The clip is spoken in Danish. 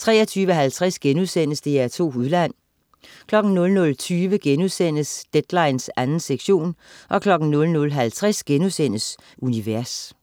23.50 DR2 Udland* 00.20 Deadline 2. sektion* 00.50 Univers*